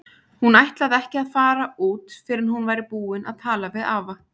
Hún ætlaði ekki að fara út fyrr en hún væri búin að tala við afa.